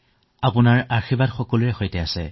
আপোনাৰ আশীৰ্বাদ সকলোৰে সৈতে আছে